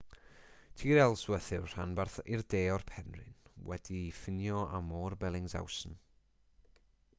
tir ellsworth yw'r rhanbarth i'r de o'r penrhyn wedi'i ffinio â môr bellingshausen